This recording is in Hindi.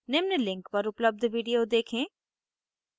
निम्न link पर उपलब्ध video देखें